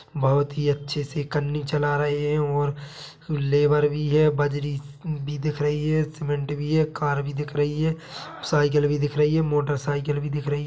बहुत ही अच्छे से करनी चला रहे हैं वहां मजदूर भी है बजरी भी दिख रही है सीमेंट भी है कार भी दिख रही है साइकिल भी दिख रही है मोटरसाइकिल भी दिख रही है।